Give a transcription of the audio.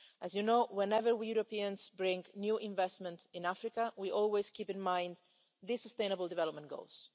As you know, whenever we Europeans bring new investment to Africa we always bear in mind the Sustainable Development Goals.